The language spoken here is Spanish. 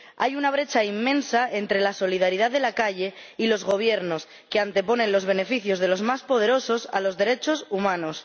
Hay una brecha inmensa entre la solidaridad de la calle y los gobiernos, que anteponen los beneficios de los más poderosos a los derechos humanos.